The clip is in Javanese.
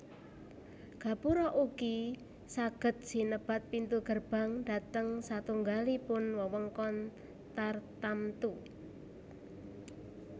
Gapura ugi saged sinebat pintu gerbang dhateng satunggalipun wewengkon tartamtu